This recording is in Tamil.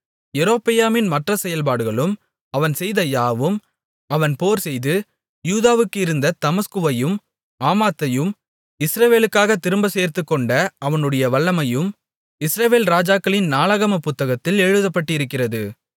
யெரொபெயாமின் மற்ற செயல்பாடுகளும் அவன் செய்த யாவும் அவன் போர்செய்து யூதாவுக்கு இருந்த தமஸ்குவையும் ஆமாத்தையும் இஸ்ரவேலுக்காகத் திரும்பச் சேர்த்துக்கொண்ட அவனுடைய வல்லமையும் இஸ்ரவேல் ராஜாக்களின் நாளாகமப் புத்தகத்தில் எழுதப்பட்டிருக்கிறது